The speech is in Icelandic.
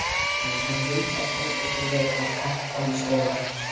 Nei, hann vildi ábyggilega ekki fara í skólann.